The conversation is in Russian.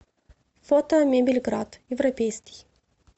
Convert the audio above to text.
фото мебельград европейский